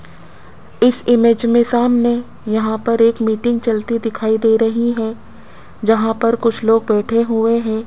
इस इमेज में सामने यहां पर एक मीटिंग चलती दिखाई दे रही है जहां पर कुछ लोग बैठे हुए हैं।